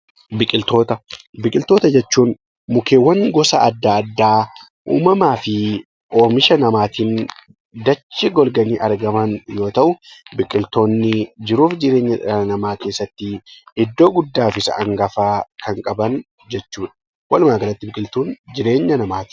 Biqiltoota: Biqiltoota jechuun mukeewwan gosa adda addaa uumamaa fi oomisha namaatiin dachee golganii argaman yoo ta’u, biqiltoonni jiruuf jireenya dhala namaa keessatti iddoo guddaa fi isa hangafaa kan qaban jechuudha. Walumaa galatti biqiltuun jireenya namaati.